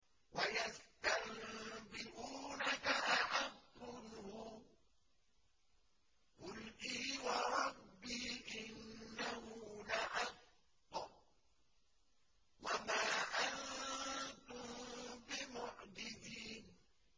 ۞ وَيَسْتَنبِئُونَكَ أَحَقٌّ هُوَ ۖ قُلْ إِي وَرَبِّي إِنَّهُ لَحَقٌّ ۖ وَمَا أَنتُم بِمُعْجِزِينَ